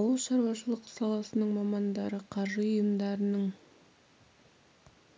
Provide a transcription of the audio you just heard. ауыл шаруашылығы саласының мамандары қаржы ұйымдарының